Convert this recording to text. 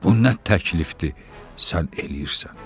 Bu nə təklifdir sən eləyirsən.